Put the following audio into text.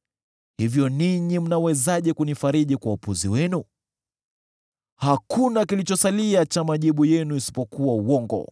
“Hivyo ninyi mnawezaje kunifariji kwa upuzi wenu? Hakuna kilichosalia cha majibu yenu isipokuwa uongo!”